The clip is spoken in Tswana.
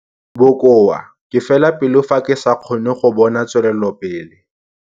Bokoa - Ke fela pelo fa ke sa kgone go bona tswelelopele.